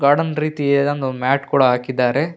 Garden ರೀತಿ ಯಾವುದೊ ಒಂದು ಮ್ಯಾಟ್ ಕೂಡ ಹಾಕಿದ್ದಾರೆ.